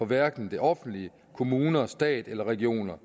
hverken det offentlige kommuner stat eller regioner